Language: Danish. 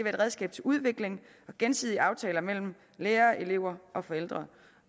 et redskab til udvikling og gensidige aftaler mellem lærere elever og forældre